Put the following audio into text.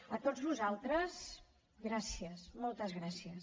a tots vosaltres gràcies moltes gràcies